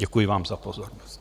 Děkuji vám za pozornost.